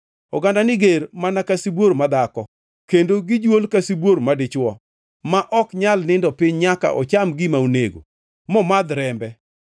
Ogandani ger mana ka sibuor madhako; kendo gijuol ka sibuor madichwo, ma ok nyal nindo piny nyaka ocham gima onego momadh rembe.”